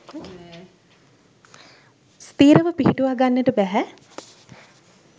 ස්ථිරව පිහිටුවා ගන්නට බැහැ.